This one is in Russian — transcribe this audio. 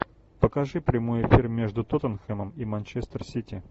покажи прямой эфир между тоттенхэмом и манчестер сити